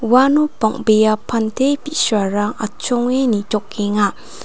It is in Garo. uano bang·bea pante bi·sarang atchonge nitokenga.